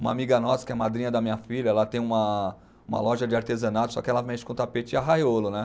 Uma amiga nossa, que é madrinha da minha filha, ela tem uma, uma loja de artesanato, só que ela mexe com tapete e arraiolo, né?